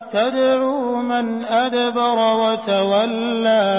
تَدْعُو مَنْ أَدْبَرَ وَتَوَلَّىٰ